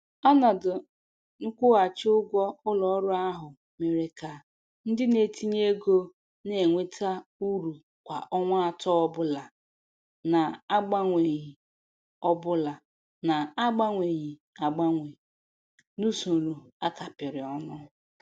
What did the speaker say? Ọnọdụ nkwụghachi ụgwọ ụlọ ọrụ ahụ mere ka ndị na-etinye ego na-enweta uru kwa ọnwa atọ ọbụla na-agbanweghi ọbụla na-agbanweghi agbanwe n'usoro a kapịrị ọnụ.